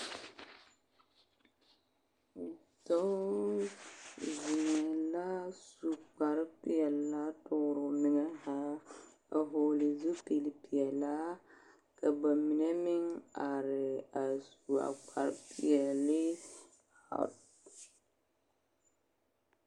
Dɔɔ zeŋɛɛ la su kparepelaa toore o meŋɛ zaa a vɔgle zupilpelaa ka ba mine meŋ are a su a kparepeɛlle a.